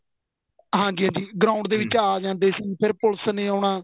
ਹਾਂਜੀ ਹਾਂਜੀ ground ਦੇ ਵਿੱਚ ਆ ਜਾਂਦੇ ਸੀ ਫੇਰ ਪੁਲਸ ਨੇ ਆਉਣਾ